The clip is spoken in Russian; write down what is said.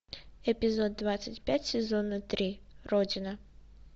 эпизод двадцать пять сезона три родина